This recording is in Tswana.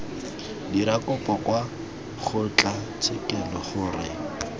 dira kopo kwa kgotlatshekelo gore